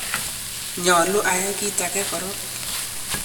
nyolu ayai kiit age korok